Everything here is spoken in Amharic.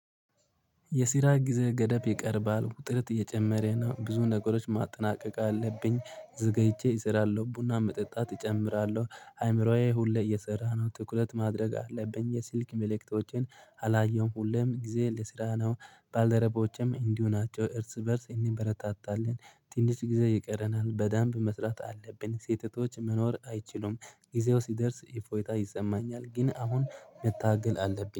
የስራ ጊዜ ገደብ ይቀርባል ጥርት እየጨመረ ነው ብዙ ነገሮች ማጠናቀቅ አለብኝ። ዘገይቼ እሰራለሁ ቡና መጠጣት እጨምራለሁ። አይምሮዬ ሁሌ እየሰራ ነው ትኩረት ማድረግ አለብኝ የስልክ መልእክቶችን። አላየሁም ሁሌም ጊዜ ልስራ ነው። ባልደረቦቼም እንዲሁ ናቸው እርስ በእርስ እንበረታታለን። ትንሽ ጊዜ ይቀረናል በደምብ መስራት አለብን። ሴት እህቶች መኖር አይችሉም። ጊዜው ሲደርስ እፎይታ ይሰማኛል ግን አሁን መታገል አለብኝ